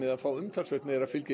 að fá meira fylgi